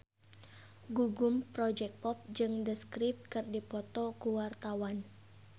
Gugum Project Pop jeung The Script keur dipoto ku wartawan